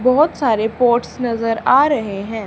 बहोत सारे पॉट्स नजर आ रहे हैं।